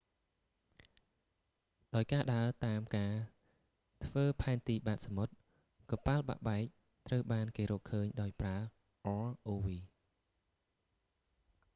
ដោយការដើរតាមការធ្វើផែនទីបាតសមុទ្រ កប៉ាល់បាក់បែកត្រូវបានគេរកឃើញដោយប្រើ rov